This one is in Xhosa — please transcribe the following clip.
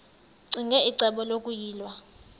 ccinge icebo lokuyilwa